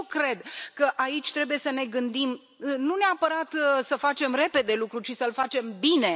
Și eu cred că aici trebuie să ne gândim nu neapărat să facem repede lucrul, ci să îl facem bine.